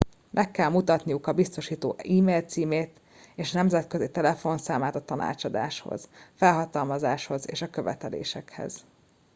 meg kell mutatniuk a biztosító e mail címét és nemzetközi telefonszámát a tanácsadáshoz felhatalmazáshoz és a követelésekhez